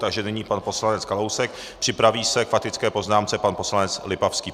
Takže nyní pan poslanec Kalousek, připraví se k faktické poznámce pan poslanec Lipavský.